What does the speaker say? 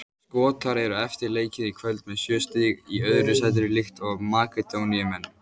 Skotar eru eftir leikinn í kvöld með sjö stig í öðru sætinu líkt og Makedóníumenn.